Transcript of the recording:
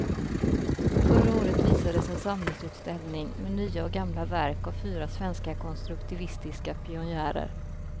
Förra året visades en samlingsutställning med nya och gamla verk av fyra svenska konstruktivistiska pionjärer.